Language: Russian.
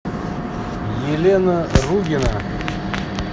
елена ругина